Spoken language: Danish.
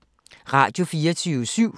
Radio24syv